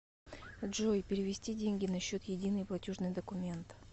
джой перевести деньги на счет единый платежный документ